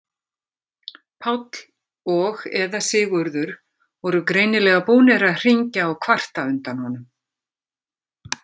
Páll og eða Sigurður voru greinilega búnir að hringja og kvarta undan honum.